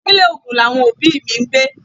Ìpínlè Ogun làwọn òbí mi ń gbé.